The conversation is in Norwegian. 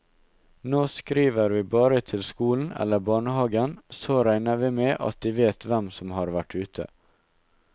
Nå skriver vi bare til skolen eller barnehagen, så regner vi med at de vet hvem som har vært ute.